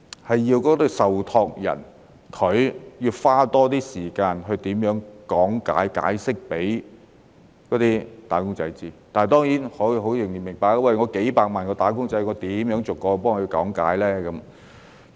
所以，受託人必須多花一點時間講解給"打工仔"知道，但當然，我也明白，有數百萬名"打工仔"，如何逐一講解呢？